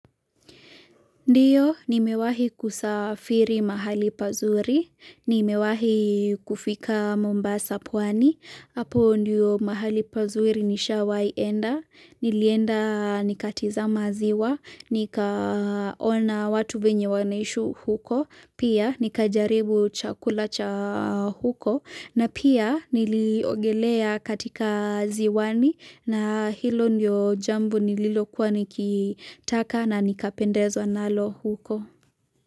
Ndiyo, nimewahi kusafiri mahali pazuri, nimewahi kufika mombasa pwani, hapo ndiyo mahali pazuri nishaienda, nilienda nikatizama ziwa, nikaona watu venye wanaishi huko, pia nikajaribu chakula cha huko, na pia niliogelea katika ziwani na hilo ndio jambo nililokuwa nikitaka na nikapendezwa nalo huko.